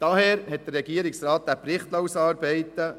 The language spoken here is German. Daher liess der Regierungsrat diesen Bericht ausarbeiten.